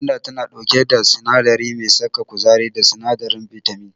Gwanda tana ɗauke da sinadari mai saka kuzari da sinadarin bitamin.